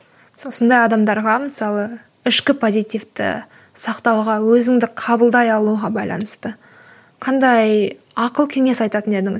сондай адамдарға мысалы ішкі позитивті сақтауға өзіңді қабылдай алуға байланысты қандай ақыл кеңес айтатын едіңіз